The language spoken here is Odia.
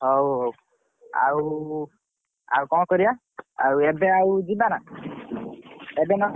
ହଉ ହଉ ଆଉ କଣ କରିଆ ଆଉ ଏବେ ଯିବନା ଏବେ ନଗଲେ ଆଉ।